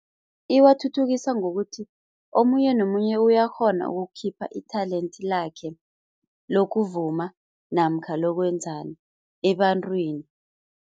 Iwathuthukisa ngokuthi omunye nomunye uyakghona ukukhipha i-talent lakhe lokuvuma namkha lokwenzani ebantwini.